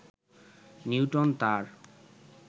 Newton তার